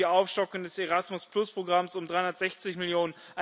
und die Aufstockung des Erasmus Programms um 360 Mio.